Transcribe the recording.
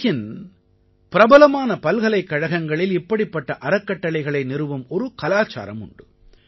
உலகின் பிரபலமான பல்கலைக்கழகங்களில் இப்படிப்பட்ட அறக்கட்டளைகளை நிறுவும் ஒரு கலாச்சாரம் உண்டு